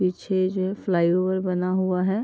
पीछे जो है फ्लाईओवर बना हुआ है।